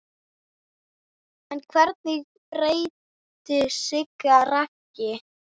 En hverju breytti Siggi Raggi?